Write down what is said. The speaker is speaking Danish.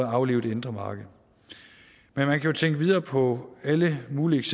aflive det indre marked men man kan jo tænke videre på alle mulige